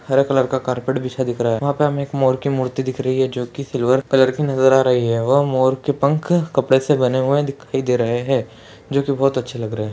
हरा कलर का कारपेट बिछा दिखरा हैं वहा पे हमें एक मोर की मूर्ति दिख रही है जोकि सिल्वर कलर की नज़र आ रही है वह मोर के पंख कपड़े से बने हुए दिखाई दे रहे हैं जोकि बहोत अच्छे लग रहे है।